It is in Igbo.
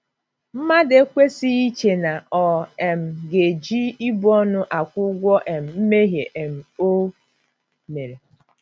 Mmadụ ekwesịghị iche na ọ um ga - eji ibu ọnụ akwụ ụgwọ um mmehie um o mere.